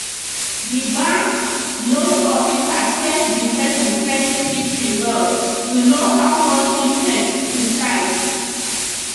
the banks loan officer check the person credit history well to know how much interest to charge